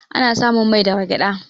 Ana samun mai daga gyaɗa.